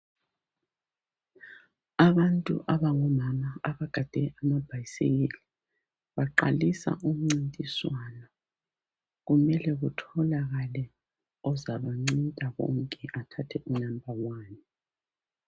Abantu abangomama abagade amabhayisikili baqalisa umncintiswano kumele kutholakale ozaba ncinta bonke athathe unumber one.